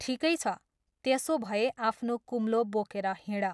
ठिकै छ त्यसोभए आफ्नो कुम्लो बोकेर हिँड।